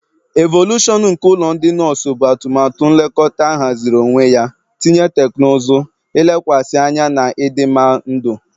Evolushọn nke ụlọ ndị nọọsụ bụ atụmatụ nlekọta ahaziri onwe ya, ntinye teknụzụ, ilekwasị anya na ịdịmma ndụ.